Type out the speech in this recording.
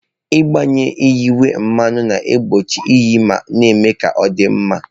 Ịgbanye yinye mmanụ na-egbochi iyi ma na-eme ka ọ dị mma.